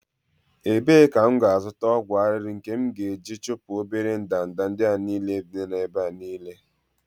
ebee ka m ga-azụta ọgwụ arịrị nke m ga-eji chụpụ obere ndanda ndị a niile nọ n'ebe niile?